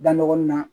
Da ɲɔgɔn na